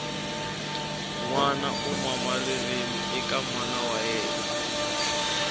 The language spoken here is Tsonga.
nwana u mama ririmi eka mana wa yemna